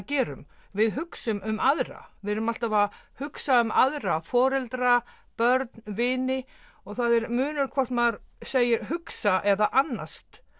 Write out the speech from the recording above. gerum við hugsum um aðra við erum alltaf að hugsa um aðra foreldra börn vini og það er munur hvort maður segir hugsa um eða annast